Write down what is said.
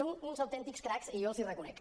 són uns autèntics cracs i jo els ho reconec